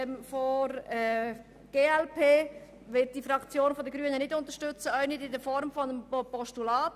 Wir Grünen unterstützen den Vorstoss der glp auch nicht als Postulat.